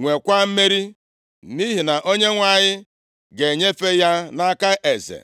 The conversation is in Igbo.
nwekwa mmeri, nʼihi na Onyenwe anyị ga-enyefe ya nʼaka eze.”